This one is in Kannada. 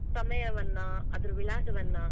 ಸಮಯವನ್ನಾ, ಅದ್ರ ವಿಳಾಸವನ್ನಾ,